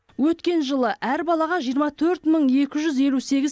өткен жылы әр балаға жиырма төрт мың екі жүз елу сегіз